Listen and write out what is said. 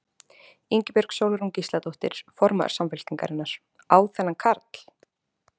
Ingibjörg Sólrún Gísladóttir, formaður Samfylkingarinnar: Á þennan karl?